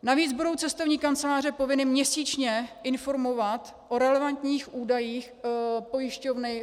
Navíc budou cestovní kanceláře povinny měsíčně informovat o relevantních údajích pojišťovny.